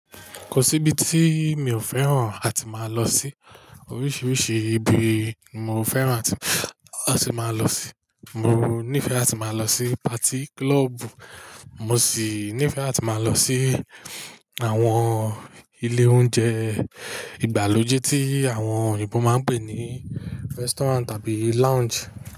Kò sí ibi tí mi ò fẹ́ràn láti máa lọ sí. Oríṣiríṣi ibi mo fẹ́ràn láti máa lọ sí. Mo nífẹ̀ẹ́ láti máa lọ sí patí kílọ̀ọ̀bù, mo sì nífẹ̀ẹ́ láti máa lọ sí àwọn ilé oúnjẹ ìgbàlódé tí àwọn Èèbó máa ń pè ní restaurant tàbí lounge.